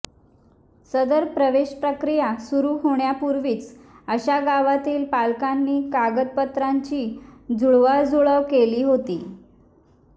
सदर प्रवेश प्रक्रिया सुरु होण्यापूर्वीच अशा गावातील पालकांनी कागदपत्रांची जुळवाजुळव केली होती